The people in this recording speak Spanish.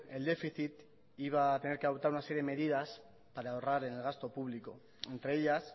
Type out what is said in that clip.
el déficit iba a tener que adoptar una serie de medidas para ahorrar en el gasto público entre ellas